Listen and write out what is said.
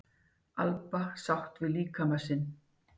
Alba sátt við líkama sinn